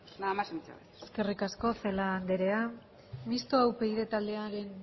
nada más y muchas gracias eskerrik asko celaá andrea mistoa upyd taldearen